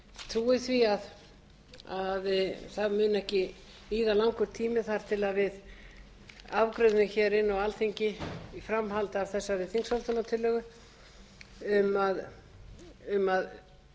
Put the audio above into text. trúi því að það muni ekki líða langur tími þar til við afgreiðum hér inn á alþingi í framhaldi af þessari þingsályktunartillögu um að